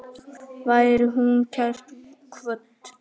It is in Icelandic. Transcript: Veri hún kært kvödd.